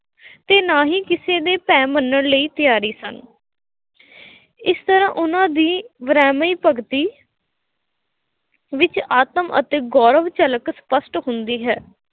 ਅਤੇ ਨਾ ਹੀ ਕਿਸੇ ਦੇ ਭੈਅ ਮੰਨਣ ਲਈ ਤਿਆਰੀ ਸਨ । ਇਸ ਤਰ੍ਹਾਂ ਉਹਨਾ ਦੀ ਵਿਰਾਮੀ ਭਗਤੀ ਵਿੱਚ ਆਤਮ ਅਤੇ ਗੌਰਵ ਝਲਕ ਸਪੱਸ਼ਟ ਹੁੰਦੀ ਹੈ,